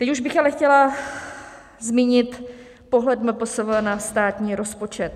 Teď už bych ale chtěla zmínit pohled MPSV na státní rozpočet.